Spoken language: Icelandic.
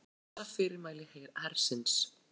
Hunsa fyrirmæli hersins